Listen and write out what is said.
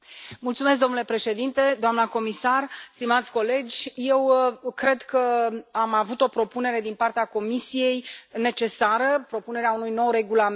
Domnule președinte, doamnă comisar, stimați colegi, eu cred că am avut o propunere necesară din partea Comisiei, propunerea unui nou regulament.